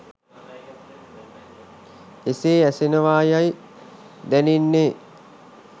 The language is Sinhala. එසේ ඇසෙනවා යයි දැනෙන්නේ